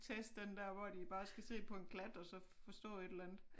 Test den der hvor de bare skal se på en klat og så forstå et eller andet